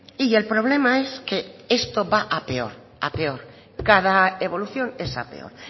y el problema es que esto va a peor a peor cada evolución es a peor